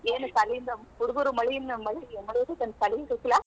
ಏನ ಸಾಲಿದ್ ಹುಡಗುರ್ ಮಳಿಯಿಂದ್ ಮಳಿ~ ಮಳಿ ಐತಿ ಅಂತ ಸಾಲಿಗೇ ಕಳಿಸಿಲ್ಲಾ.